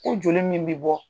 U joli min bɛ bɔ.